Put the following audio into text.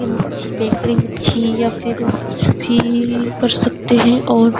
या फिर कुछ भी कर सकते है और --